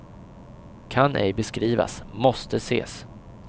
Kan ej beskrivas, måste ses.